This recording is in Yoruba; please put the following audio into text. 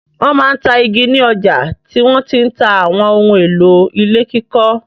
Wọ́n máa ń ta igi ni ọjà tí wọ́n ti ń ta àwọn ohun-èlò ilé kíkọ́.